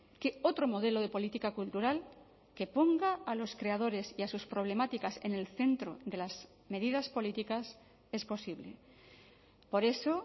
que otro modelo de política cultural que ponga a los creadores y a sus problemáticas en el centro de las medidas políticas es posible por eso